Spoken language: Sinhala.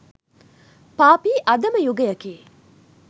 පාපී අධම යුගයකි.